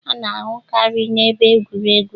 A na-ahụkarị n'ebe egwuregwu